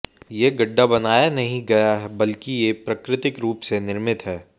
ये गड्ढा बनाया नहीं गया बल्कि ये प्राकृतिक रूप से निर्मित है